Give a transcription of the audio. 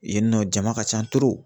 Yen nɔ jama ka ca